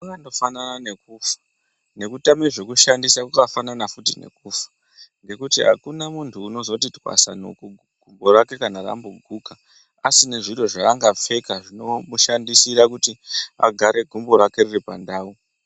Kwakandofanana nekufa, nekutame zvekushandisa kwakafanana futi nekufa, ngekuti akuna muntu unozoti twasanuku gumbo rake ramboguka, asine zviro zvaangapfeka, zvinomushandisira kuti gumbo rake riri pandau.